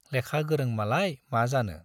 लेखा गोरों मालाय मा जानो।